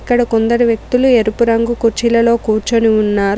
ఇక్కడ కొందరు వ్యక్తులు ఎరుపు రంగు కుర్చీలలో కూర్చొని ఉన్నారు.